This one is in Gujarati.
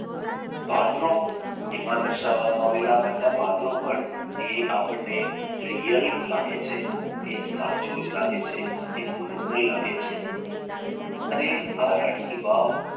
પાત્રો એમાં દર્શાવવામાં આવેલા બધા પાત્રોપણ એ આપણને really લાગે છે એ સાચું જ લાગે છે એ original લાગે છે અને આ રાણી કી વાવ